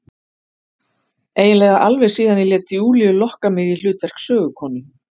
Eiginlega alveg síðan ég lét Júlíu lokka mig í hlutverk sögukonu.